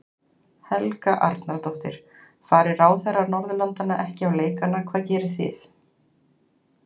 Helga Arnardóttir: Fari ráðherrar Norðurlandanna ekki á leikana hvað gerið þið?